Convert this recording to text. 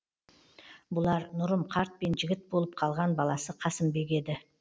бұлар нұрым қарт пен жігіт болып қалған баласы қасымбек еді